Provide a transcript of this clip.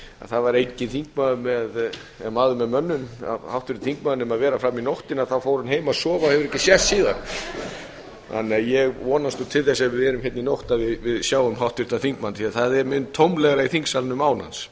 það væri enginn háttvirtur þingmaður maður með mönnum nema vera fram í nóttina fór hann heim að sofa og hefur ekki sést síðan ég vonast til þess ef við verðum hérna í nótt að við sjáum háttvirtan þingmann því að það er mun tómlegra í þingsalnum án hans